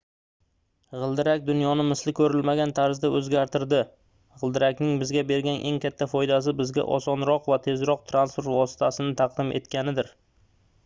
gʻildirak dunyoni misli koʻrilmagan tarzda oʻzgartirdi gʻildirakning bizga bergan eng katta foydasi bizga osonroq va tezroq transport vositasini taqdim etganidir